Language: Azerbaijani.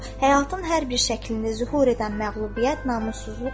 Həyatın hər bir şəklini zühur edən məğlubiyyət namussuzluqdur.